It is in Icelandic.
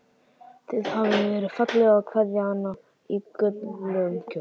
Það hafði verið fallegt að kveðja hana í gulum kjól.